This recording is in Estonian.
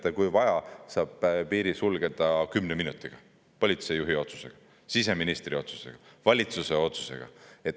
Teate, kui vaja, saab piiri sulgeda kümne minutiga – politseijuhi otsusega, siseministri otsusega, valitsuse otsusega.